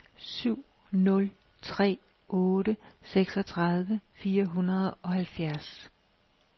syv nul tre otte seksogtredive fire hundrede og halvfjerds